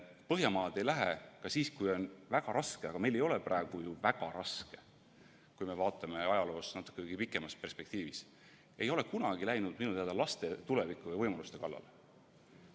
Põhjamaad ei lähe ka siis, kui on väga raske – ja meil ei ole ju praegu väga raske, kui vaatame ajaloos natukenegi pikemalt tagasi –, laste tuleviku ja võimaluste kallale.